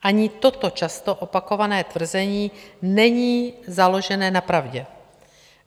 Ani toto často opakované tvrzení není založené na pravdě.